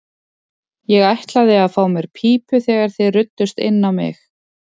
Ég ætlaði að fá mér í pípu þegar þið ruddust inn á mig.